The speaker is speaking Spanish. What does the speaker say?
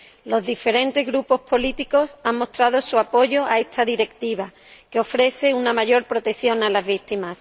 Los diferentes Grupos políticos han mostrado su apoyo a esta Directiva, que ofrece una mayor protección a las víctimas.